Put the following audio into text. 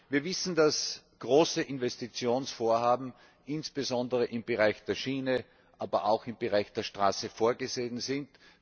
Wir wissen, dass große Investitionsvorhaben, insbesondere im Bereich der Schiene, aber auch im Bereich der Straße vorgesehen sind.